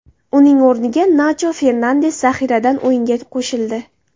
Uning o‘ringa Nacho Fernandes zaxiradan o‘yinga qo‘shildi.